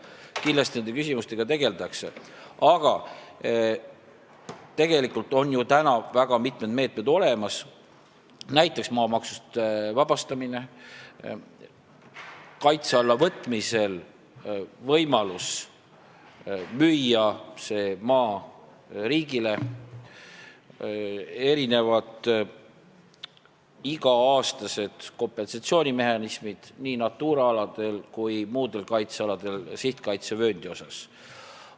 Kindlasti nende küsimustega tegeldakse, aga tegelikult on ju väga mitmed meetmed olemas, näiteks maamaksust vabastamine, kaitse alla võtmisel on võimalus müüa see maa riigile, on olemas iga-aastased kompensatsioonimehhanismid nii Natura aladel kui ka muudel kaitsealadel sihtkaitsevööndi osas.